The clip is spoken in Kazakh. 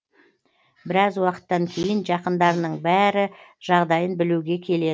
біраз уақыттан кейін жақындарының бәрі жағдайын білуге келеді